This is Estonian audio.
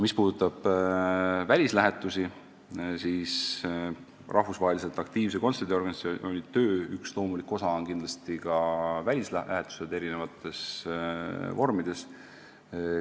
Mis puudutab välislähetusi, siis rahvusvaheliselt aktiivse kontserdiorganisatsiooni töö üks loomulikke osi on kindlasti ka välislähetused eri vormides.